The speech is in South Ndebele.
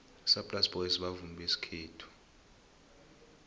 isaplasi boys bavumi besikhethu